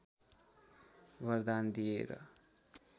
वरदान दिएर